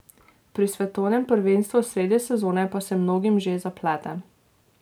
Pri svetovnem prvenstvu sredi sezone pa se mnogim že zaplete.